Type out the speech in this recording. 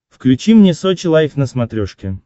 включи мне сочи лайф на смотрешке